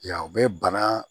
Yan o bɛ bana